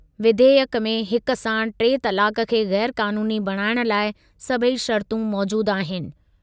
विधेयकु में हिक साण टे तलाकु खे ग़ैर क़ानूनी बणाइण लाइ सभई शर्तूं मौजूदु आहिनि।